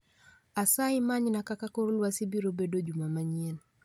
Asayi manyna kaka kor lwasi biro bedo juma manyien